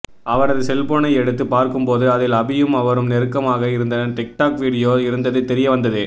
அவரது செல்போனை எடுத்து பார்க்கும் போது அதில் அபியும் அவரும் நெருக்கமாக இருந்த டிக்டாக் வீடியோ இருந்தது தெரியவந்தது